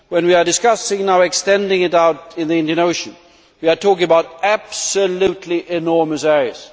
When we are discussing extending it out into the Indian Ocean, we are talking about absolutely enormous areas.